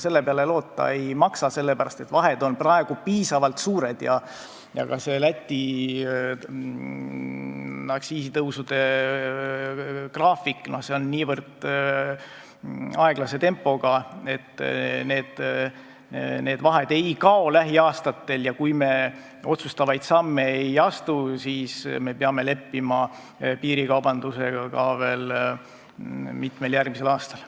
Selle peale loota ei maksa, sest vahed on praegu piisavalt suured ja ka Läti aktsiisitõusud on niivõrd aeglase tempoga, et need vahed ei kao lähiaastatel ja kui me otsustavaid samme ei astu, siis me peame leppima piirikaubandusega ka veel mitmel järgmisel aastal.